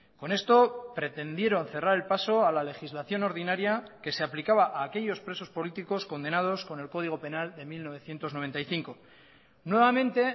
con esto pretendieron cerrar el paso a la legislación ordinaria que se aplicaba a aquellos presos políticos condenados con el código penal de mil novecientos noventa y cinco nuevamente